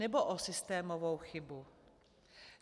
Nebo o systémovou chybu?